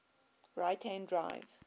right hand drive